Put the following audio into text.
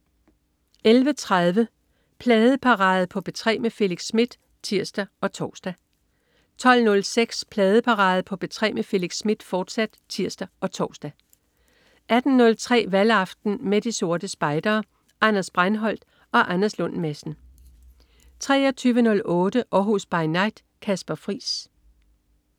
11.30 Pladeparade på P3 med Felix Smith (tirs og tors) 12.06 Pladeparade på P3 med Felix Smith, fortsat (tirs og tors) 18.03 Valgaften med De Sorte Spejdere. Anders Breinholt og Anders Lund Madsen 23.08 Århus By Night. Kasper Friis